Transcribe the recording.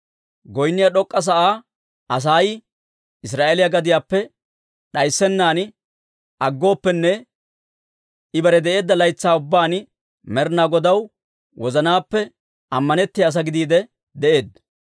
Goynniyaa d'ok'k'a sa'aa Asay Israa'eeliyaa gadiyaappe d'ayssennan aggooppenne, I bare de'eedda laytsaa ubbaan Med'inaa Godaw wozanaappe ammanettiyaa asaa gidiide de'eedda.